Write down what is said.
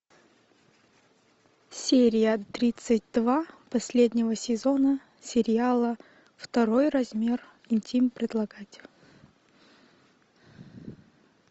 серия тридцать два последнего сезона сериала второй размер интим предлагать